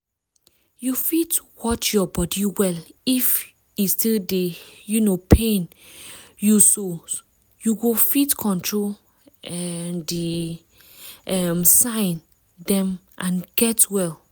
you fit watch your body well if e still dey um pain youso you go fit control um the um sign dem and get well